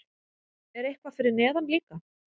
Er eitthvað fyrir neðan líka?